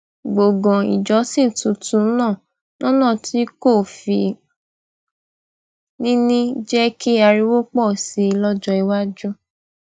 gbòngàn ìjọsìn tuntun náà lónà tí kò fi ní ní jé kí ariwo pò sí i lójó iwájú